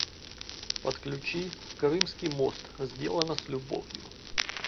подключи крымский мост сделано с любовью